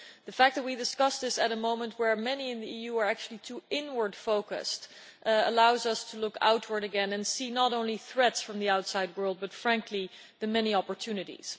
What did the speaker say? The fact that we are discussing this at a time when many in the EU are actually too inward focused allows us to look outward again and see not only threats from the outside world but, frankly, the many opportunities.